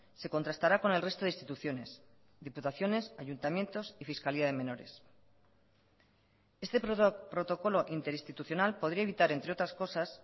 se contrastará con el resto de instituciones diputaciones ayuntamientos y fiscalía de menores este protocolo interinstitucional podría evitar entre otras cosas